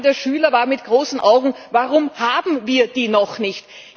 Die Frage der Schüler war mit großen Augen Warum haben wir die noch nicht?